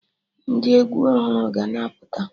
Ndị egwu ọhụrụ ga na-apụta